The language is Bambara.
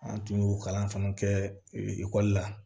An tun y'o kalan fana kɛ ekɔli la